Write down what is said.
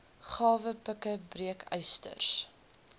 grawe pikke breekysters